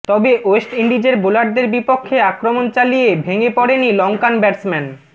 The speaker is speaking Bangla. তবে ওয়েস্ট ইন্ডিজের বোলারদের বিপক্ষে আক্রমন চালিয়ে ভেঙ্গে পড়েনি লংকান ব্যাটসম্যান